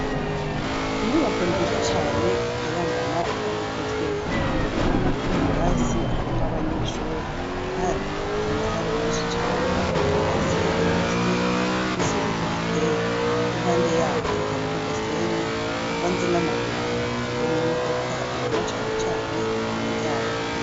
Inyubako nzizo cane ikayangana, kandi igezweho urabanwa ko mu birasi harimwo abanyeshuri, kandi ifise amasare menshi cane hasi irafise udushaurwe tuhateye n'impande yaho hariho agasenyi kavanze n'amabuyi hariho n'imodoka ubona canecane iping yayo.